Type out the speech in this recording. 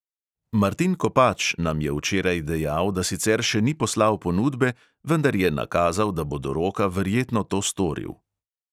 Martin kopač nam je včeraj dejal, da sicer še ni poslal ponudbe, vendar je nakazal, da bo do roka verjetno to storil.